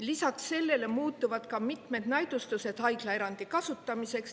Lisaks sellele muutuvad mitmed näidustused haiglaerandi kasutamiseks.